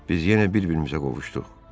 Biz yenə bir-birimizə qovuşduq.